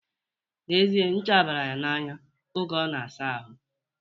N'ezie, ncha bayere ya n'anya oge ọ na-asa ahụ